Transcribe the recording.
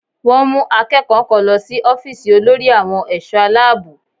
Wọ́n mú akẹ́kọ̀ọ́ kan lọ sí ọ́fíìsì olórí àwọn ẹ̀ṣọ́ Aláàbò